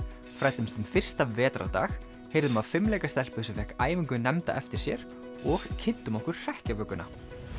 fræddumst um fyrsta vetrardag heyrðum af fimleikastelpu sem fékk æfingu nefnda eftir sér og kynntum okkur hrekkjavökuna